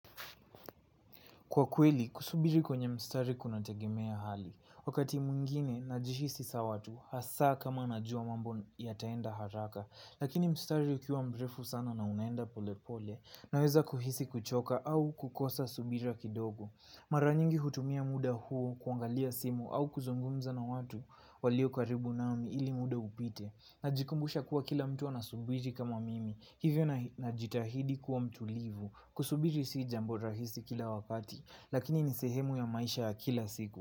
Kwa kweli, kusubiri kwenye mstari kunategemea hali. Wakati mwingine, najihisi sawa tu, hasaa kama najua mambo yataenda haraka lakini mstari ukiwa mrefu sana na unaenda polepole, naweza kuhisi kuchoka au kukosa subira kidogo. Mara nyingi hutumia muda huo kuangalia simu au kuzungumza na watu walio karibu nami ili muda upite. Najikumbusha kuwa kila mtu anasubiri kama mimi, hivyo najitahidi kuwa mtulivu. Kusubiri si jambo rahisi kila wakati lakini ni sehemu ya maisha ya kila siku.